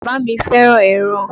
Bàbá mi fẹ́ràn ẹran.